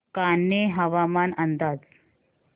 कान्हे हवामान अंदाज